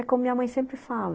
É como minha mãe sempre fala.